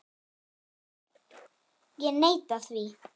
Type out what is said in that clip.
Ég neita því.